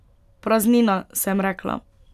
Praznina, sem rekla.